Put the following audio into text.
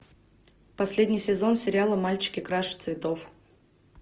последний сезон сериала мальчики краше цветов